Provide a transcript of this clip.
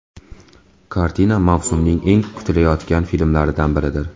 Kartina mavsumning eng kutilayotgan filmlaridan biridir.